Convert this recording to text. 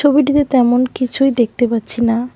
ছবিটিতে তেমন কিছুই দেখতে পাচ্ছি না।